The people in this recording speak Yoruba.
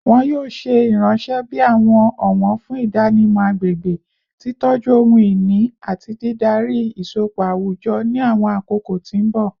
Wọn yoo ṣe iranṣẹ bi awọn ọwọn fun idanimọ agbegbe, titọju ohun-ini, ati didari isọpọ awujọ ni awọn akoko ti mbọ